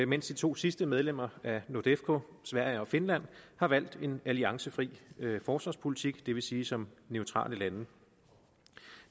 mens de to sidste medlemmer af nordefco sverige og finland har valgt en alliancefri forsvarspolitik det vil sige som neutrale lande